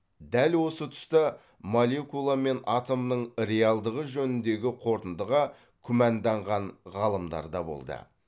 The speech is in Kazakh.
дәл осы тұста молекула мен атомның реалдығы жөніндегі қорытындыға күмәнданған ғалымдар да болды